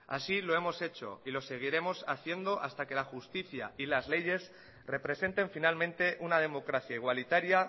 así lo hemos hecho y lo seguirnos haciendo hasta que la justicia y las leyes representen finalmente una democracia igualitaria